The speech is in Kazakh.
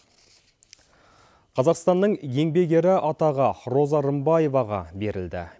қазақстанның еңбек ері атағы роза рымбаеваға берілді